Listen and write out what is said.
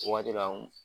O waati la